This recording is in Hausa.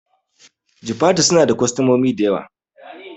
Jifatu suna da kwastamomi dayawa